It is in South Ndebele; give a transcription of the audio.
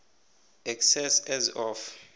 excess as of